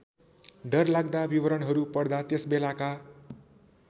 डरलाग्दा विवरणहरू पढ्दा त्यसबेलाका